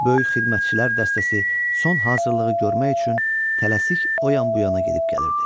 Böyük xidmətçilər dəstəsi son hazırlığı görmək üçün tələsik o yan-bu yana gedib gəlirdi.